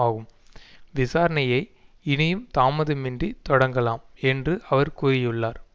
ஆகும் விசாரணையை இனியும் தாமதமின்றி தொடங்கலாம் என்று அவர் கூறியுள்ளார்